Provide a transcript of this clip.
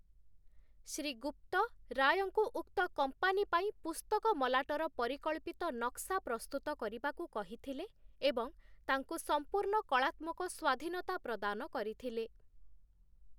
ଶ୍ରୀ ଗୁପ୍ତ ରାୟଙ୍କୁ ଉକ୍ତ କମ୍ପାନୀ ପାଇଁ ପୁସ୍ତକ ମଲାଟର ପରିକଳ୍ପିତ ନକ୍ସା ପ୍ରସ୍ତୁତ କରିବାକୁ କହିଥିଲେ ଏବଂ ତାଙ୍କୁ ସମ୍ପୂର୍ଣ୍ଣ କଳାତ୍ମକ ସ୍ୱାଧୀନତା ପ୍ରଦାନ କରିଥିଲେ ।